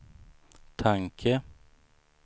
tanke